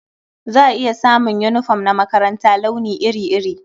Za a iya samun yunifom na makaranta launi iri-iri.